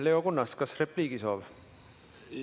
Leo Kunnas, kas repliigi soov?